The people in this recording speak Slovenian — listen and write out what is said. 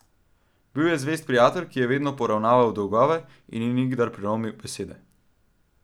Bil je zvest prijatelj, ki je vedno poravnal dolgove in ni nikdar prelomil besede.